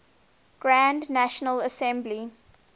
grand national assembly